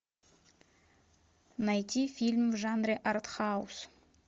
найти фильм в жанре артхаус